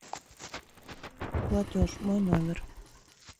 платеж мой номер